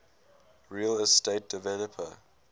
real estate developer